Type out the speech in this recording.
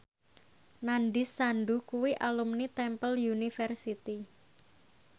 Nandish Sandhu kuwi alumni Temple University